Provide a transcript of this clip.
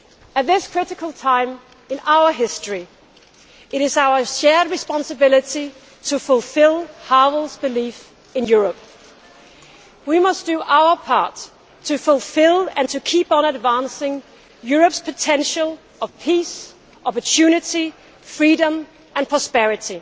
At this critical time in our history, it is our shared responsibility to fulfil Havel's belief in Europe. We must do our part to fulfil, and to keep on advancing, Europe's potential for peace, opportunity, freedom and prosperity.